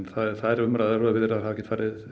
þær umræður og viðræður hafa ekki